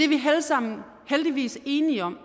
vi alle sammen heldigvis enige om